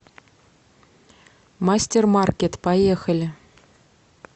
мастермаркет поехали